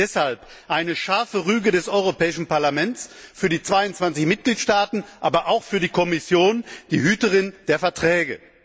Deshalb eine scharfe Rüge des Europäischen Parlaments für die 22 Mitgliedstaaten, aber auch für die Kommission, die Hüterin der Verträge!